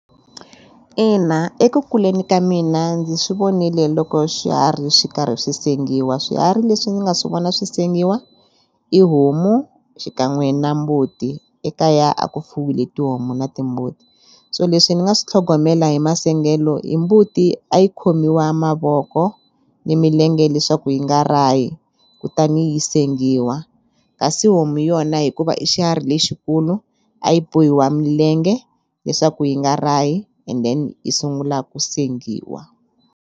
Ina, eku kuleni ka mina ndzi swi vonile loko swiharhi swi karhi swi sengiwa swiharhi leswi ndzi nga swi vona swi sengiwa i homu xikan'we na mbuti ekaya a ku fuwile tihomu na timbuti so leswi ni nga swi tlhogomela hi masengelo hi mbuti a yi khomiwa mavoko ni milenge leswaku yi nga rahi kutani yi sengiwa kasi homu yona hikuva i xiharhi lexikulu a yi bohiwa milenge leswaku yi nga rahi and then yi sungula ku sengiwa.